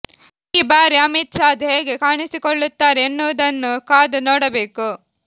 ಈ ಬಾರಿ ಅಮಿತ್ ಸಾದ್ ಹೇಗೆ ಕಾಣಿಸಿಕೊಳ್ಳುತ್ತಾರೆ ಎನ್ನುವುದನ್ನು ಕಾದು ನೋಡಬೇಕು